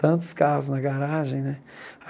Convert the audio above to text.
Tantos carros na garagem, né?